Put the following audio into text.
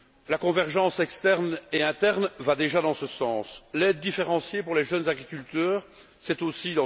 La convergence externe et interne va déjà dans ce sens. L'aide différenciée pour les jeunes agriculteurs aussi.